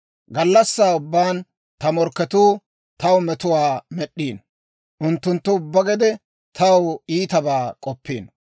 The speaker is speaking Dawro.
Gallassaa ubbaan ta morkketuu, taw metuwaa med'd'iino; Unttunttu ubbaa gede taw iitabaa k'oppiino.